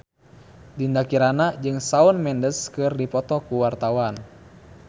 Dinda Kirana jeung Shawn Mendes keur dipoto ku wartawan